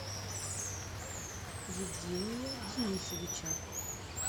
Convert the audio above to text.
евгения денисовича